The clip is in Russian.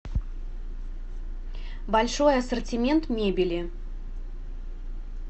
большой ассортимент мебели